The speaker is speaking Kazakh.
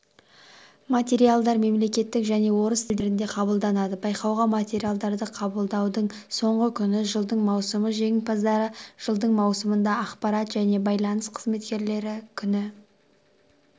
материалдар мемлекеттік және орыс тілдерінде қабылданады байқауға материалдарды қабылдаудың соңғы күні жылдың маусымы жеңімпаздар жылдың маусымында ақпарат және байланыс қызметкерлері күні